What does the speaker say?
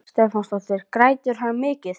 Dagmar Ýr Stefánsdóttir: Grætur hann mikið?